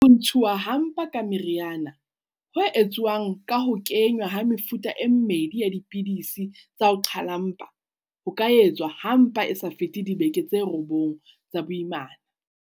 Ho ntshuwa ha mpa ka meriana, ho etsuwang ka ho kenngwa ha mefuta e mmedi ya dipidisi tsa ho qhala mpa, ho ka etswa ha mpa e sa fete dibeke tse robong tsa boimana.